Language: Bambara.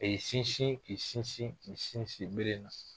A ye sinsin, k'i sinsin, k'i sinsin bere na.